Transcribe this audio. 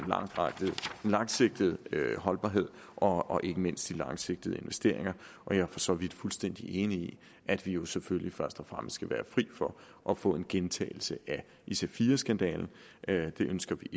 langsigtede holdbarhed og ikke mindst de langsigtede investeringer og jeg er for så vidt fuldstændig enig i at vi jo selvfølgelig først og fremmest skal være fri for at få en gentagelse af ic4 skandalen det ønsker vi